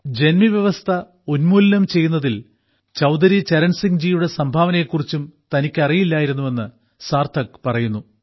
ജന്മിവ്യവസ്ഥ ഉന്മൂലനം ചെയ്യുന്നതിൽ ചൌധരി ചരൺ സിംഹിജിയുടെ സംഭാവനയെക്കുറിച്ചും തനിക്കറിയില്ലായിരുന്നുവെന്ന് സാർത്ഥക് പറയുന്നു